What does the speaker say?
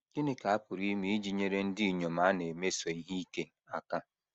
GỊNỊ ka a pụrụ ime iji nyere ndị inyom a na - emeso ihe ike aka?